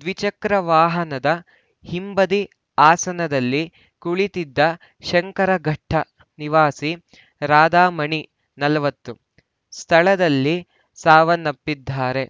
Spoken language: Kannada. ದ್ವಿಚಕ್ರ ವಾಹನದ ಹಿಂಬದಿ ಆಸನದಲ್ಲಿ ಕುಳಿತ್ತಿದ್ದ ಶಂಕರಘಟ್ಟನಿವಾಸಿ ರಾಧಮಣಿ ನಲವತ್ತು ಸ್ಥಳದಲ್ಲಿ ಸಾವನ್ನಪ್ಪಿದ್ದಾರೆ